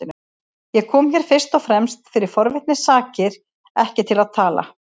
Ég kom hér fyrst og fremst fyrir forvitni sakir, ekki til að tala.